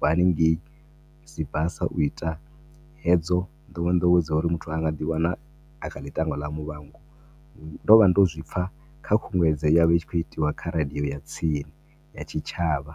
haningei Sibasa u ita hedzo nḓowenḓowe dzo uri muthu anga dzi wana akha ḽi tango ḽa muvhango. Ndo vha ndo zwipfa kha khunguwedzo ye yavha i tshi khou itiwa kha radio ya tsini, ya tshitshavha.